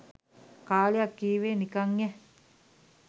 කාලයක් කීවේ නිකන් යෑ.